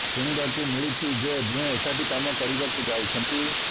ଶୁଣିବାକୁ ମିଳିଛି ଯେ ଦୁହେଁ ଏକାଠି କାମ କରିବାକୁ ଯାଉଛନ୍ତି